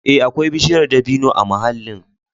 Ee, akwai bishiyar dabino a mahallin.